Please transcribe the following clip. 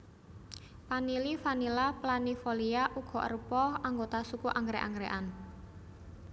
Panili Vanilla planifolia uga arupa anggota suku anggrèk anggrèkan